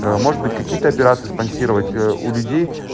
может быть какие-то операции спонсировать у людей